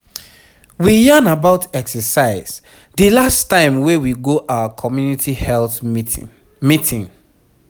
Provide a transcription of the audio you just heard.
we yarn about exercise the last time wey we go our communiity health meeting. meeting.